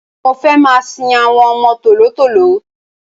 Mo fẹ́ máa sin àwọn ọmọ tòló-tòló.